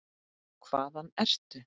Hvaðan ertu?